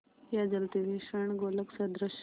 या जलते हुए स्वर्णगोलक सदृश